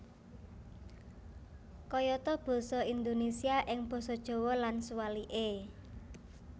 Kayata basa Indonésia ing basa Jawa lan suwalike